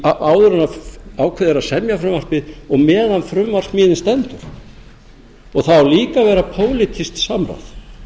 áður en ákveðið er að semja frumvarpið og meðan á frumvarpssmíðinni stendur það á líka að vera pólitískt samráð